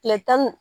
Kile tan ni